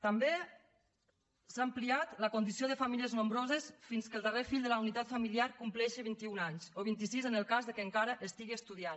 també s’ha ampliat la condició de famílies nombroses fins que el darrer fill de la unitat familiar compleixi vint i un anys o vint i sis en el cas que encara estigui estudiant